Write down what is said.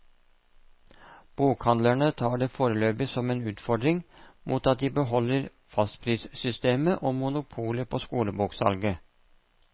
Bokhandlerne tar det foreløpig som en utfordring, mot at de beholder fastprissystemet og monopolet på skoleboksalget.